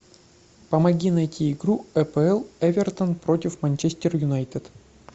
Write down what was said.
помоги найти игру апл эвертон против манчестер юнайтед